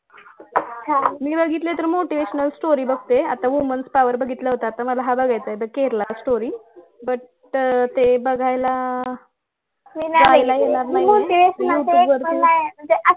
मी बघितले तर motivational story बघते आता women power बघितला होता आता मला हा बघायचा आहे the Kerala story पण ते बघायला जायला येणार नाही